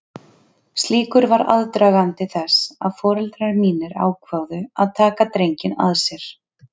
Slíkur var aðdragandi þess að foreldrar mínir ákváðu að taka drenginn að sér.